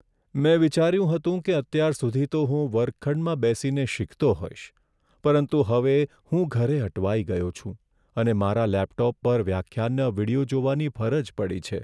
મેં વિચાર્યું હતું કે અત્યાર સુધી તો હું વર્ગખંડમાં બેસીને શીખતો હોઈશ, પરંતુ હવે હું ઘરે અટવાઈ ગયો છું અને મારા લેપટોપ પર વ્યાખ્યાનના વીડિયો જોવાની ફરજ પડી છે.